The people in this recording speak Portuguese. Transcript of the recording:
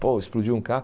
Pô, explodiu um